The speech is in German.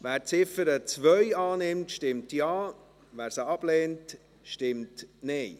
Wer die Ziffer 2 annimmt, stimmt Ja, wer dies ablehnt, stimmt Nein.